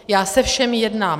Já se všemi jednám.